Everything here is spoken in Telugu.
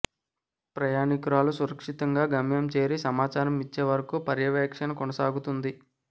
ప్రయాణికురాలు సురక్షితంగా గమ్యం చేరి సమాచారం ఇచ్చే వరకు పర్యవేక్షణ కొనసాగుతుంది